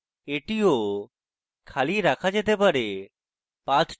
এটিও খালি রাখা রাখা যেতে পারে